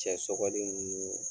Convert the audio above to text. Cɛ sɔgɔli